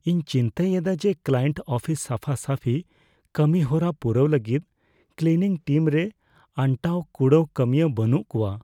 ᱤᱧ ᱪᱤᱱᱛᱟᱹᱭᱮᱫᱟ ᱡᱮ ᱠᱞᱟᱭᱮᱱᱴ ᱟᱯᱷᱤᱥ ᱥᱟᱯᱷᱟᱼᱥᱟᱹᱯᱷᱤ ᱠᱟᱹᱢᱤᱦᱚᱨᱟ ᱯᱩᱨᱟᱹᱣ ᱞᱟᱹᱜᱤᱫ ᱠᱞᱤᱱᱤᱝ ᱴᱤᱢ ᱨᱮᱱ ᱟᱱᱴᱟᱣᱼᱠᱩᱲᱟᱹᱣ ᱠᱟᱹᱢᱤᱭᱟᱹ ᱵᱟᱹᱱᱩᱜ ᱠᱚᱣᱟ ᱾